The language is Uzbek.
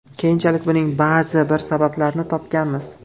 Keyinchalik buning ba’zi bir sabablarini topganmiz.